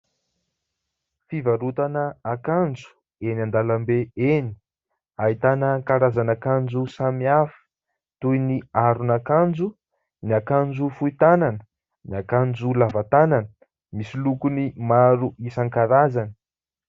Fivarotana akanjo eny andalam-be eny ahitana karazana akanjo samihafa toy ny : aron'akanjo, ny akanjo fohy tanana, ny akanjo lava tanana misy lokony maro isan-karazany